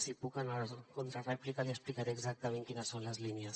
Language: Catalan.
si puc en la contrarèplica li explicaré exactament quines són les línies